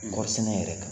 Kɔɔri sɛnɛ yɛrɛ kan